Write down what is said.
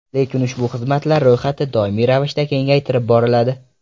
Lekin ushbu xizmatlar ro‘yxati doimiy ravishda kengaytirib boriladi.